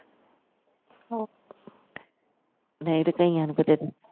ਨਹੀਂ ਤੇ ਕਈਆਂ ਨੂੰ ਕਿਥੇ